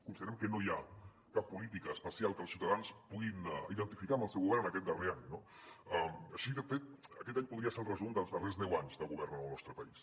considerem que no hi ha cap política especial que els ciutadans puguin identificar amb el seu govern en aquest darrer any no així de fet aquest any po·dria ser el resum dels darrers deu anys de govern en el nostre país